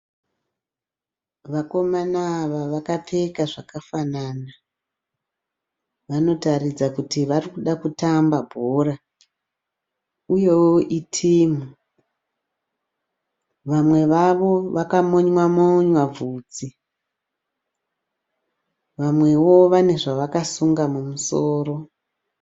Vakomana ava vakapfeka zvakafanana. Vanotaridza kuti varikuda kutamba bhora uyewo itimu. Vamwe vakamonywa monywa bvudzi vamwewo vane zvakasunga mumusoro.